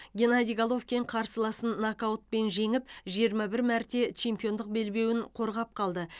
геннадий головкин қарсыласын нокаутпен жеңіп жиырма бір мәрте чемпиондық белбеуін қорғап қалды